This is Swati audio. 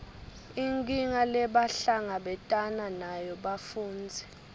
inkinga lebahlangabetana nayo bafundzi